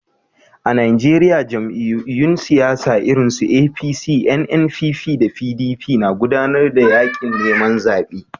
A Najeriya, jam'iyyun siyasa irinsu APC, NNPP, da PDP na gudanar da yaƙin neman zaɓe.